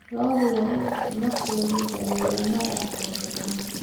Lo'da waa in isla markiiba la daweeyaa marka ay xanuunsadaan.